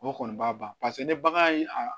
O kɔni b'a ban paseke ni bagan ye a